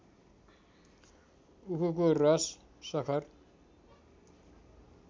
उखुको रस सखर